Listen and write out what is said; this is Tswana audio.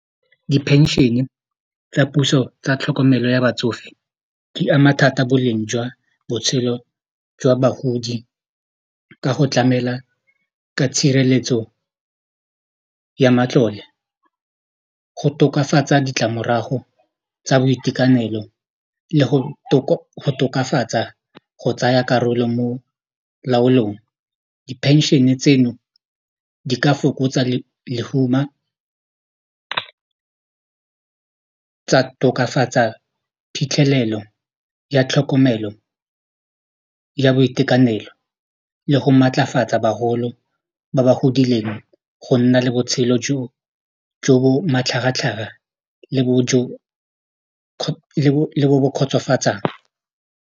Di-pension-e tsa puso tsa tlhokomelo ya batsofe di ama thata boleng jwa botshelo jwa bagodi ka go tlamela ka tshireletso ya matlole go tokafatsa ditlamorago tsa boitekanelo le go tokafatsa go tsaya karolo mo laolong di phenšene tseno di ka fokotsa lehuma tsa tokafatsa phitlhelelo ya tlhokomelo ya boitekanelo le go maatlafatsa bagolo ba ba godileng go nna le botshelo jo jo bo matlhagatlhaga le bo bo kgotsofatsang.